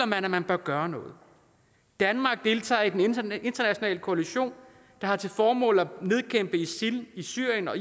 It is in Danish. man at man bør gøre noget danmark deltager i den internationale koalition der har til formål at nedkæmpe isil i syrien og